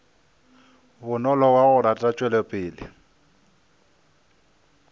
bonolo wa go rata tšwelopele